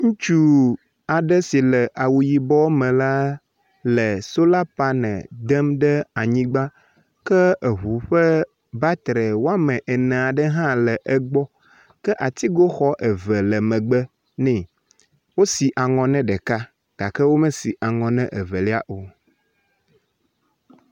Ŋutsu aɖe si le awu yibɔ me la le solar panel dem ɖe anyigba ke eŋu ƒe battery woame ene aɖe hã le egbɔ ke atigoxɔ eve le megbe nɛ, Wosi aŋɔ na ɖeka gake womesi aŋɔ na evelia o.